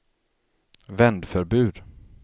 vändförbud